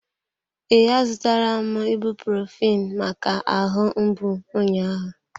Ee, a zụtara m ibuprophen maka ahụ mgbu ụnyahụ.